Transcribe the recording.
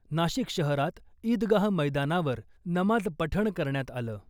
नाशिक शहरात ईदगाह मैदानावर नमाज पठण करण्यात आलं .